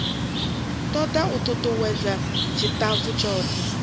toda u tutuwedza tshitafu tshothe